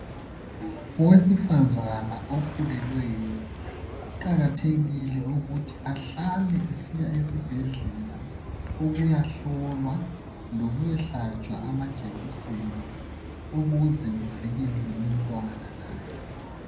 Owesifazana okhulelweyo kuqakathekile ukuthi ahlale esiya esibhedlela ukuyahlolwa, lokuya hlatshwa amajekiseni ukuze kuvikelwe umntwana laye.